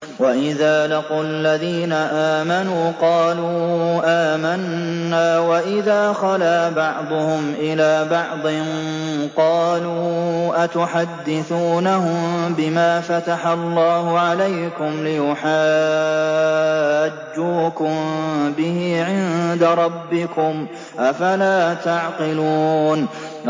وَإِذَا لَقُوا الَّذِينَ آمَنُوا قَالُوا آمَنَّا وَإِذَا خَلَا بَعْضُهُمْ إِلَىٰ بَعْضٍ قَالُوا أَتُحَدِّثُونَهُم بِمَا فَتَحَ اللَّهُ عَلَيْكُمْ لِيُحَاجُّوكُم بِهِ عِندَ رَبِّكُمْ ۚ أَفَلَا تَعْقِلُونَ